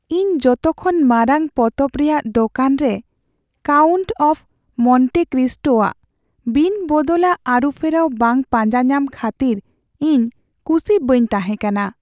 ᱤᱧ ᱡᱚᱛᱚᱠᱷᱚᱱ ᱢᱟᱨᱟᱝ ᱯᱚᱛᱚᱵ ᱨᱮᱭᱟᱜ ᱫᱳᱠᱟᱱ ᱨᱮ "ᱠᱟᱣᱩᱱᱴ ᱚᱯᱷ ᱢᱚᱱᱴᱮ ᱠᱨᱤᱥᱴᱳ" ᱟᱜ ᱵᱤᱱᱵᱚᱫᱚᱞᱟᱜ ᱟᱹᱨᱩᱯᱷᱮᱨᱟᱣ ᱵᱟᱝ ᱯᱟᱸᱡᱟ ᱧᱟᱢ ᱠᱷᱟᱹᱛᱤᱨ ᱤᱧ ᱠᱩᱥᱤ ᱵᱟᱹᱧ ᱛᱟᱦᱮᱸ ᱠᱟᱱᱟ ᱾